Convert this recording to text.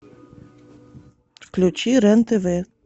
включи рен тв